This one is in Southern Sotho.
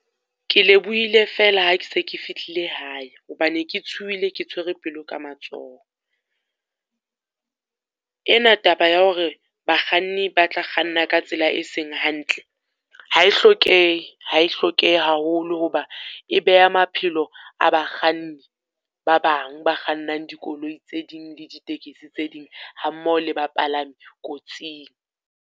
Ke lebohile fela ha ke se ke fihlile hae, ho ba ne ke tshuhile ke tshwere pelo ka matsoho. Ena taba ya hore bakganni ba tla kganna ka tsela e seng hantle ha e hlokehe, ha e hlokehe haholo ho ba e beha maphelo a bakganni, ba bang ba kgannang dikoloi tse ding le ditekesi tse ding, ha mmoho le bapalami kotsing.